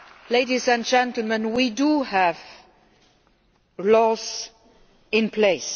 Ladies and gentlemen, we do have laws in place.